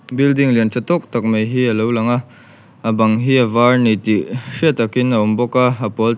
building lian tha tawk tak mai hi a lo lang a a bang hi a var a ni tih hriat takin a awm bawk a a pawl tlem--